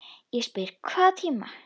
Ég spyr: Hvaða tími?